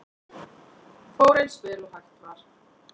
Fór eins vel og hægt var